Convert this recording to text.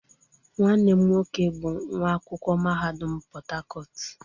Nwanne m nwoke bu nwa akwukwo mahadum Portharcourt